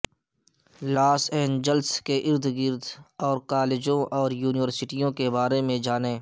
لاس Angeles کے ارد گرد اور کالجوں اور یونیورسٹیوں کے بارے میں جانیں